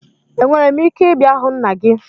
Enwere m ike ịbịa hụ nna gị?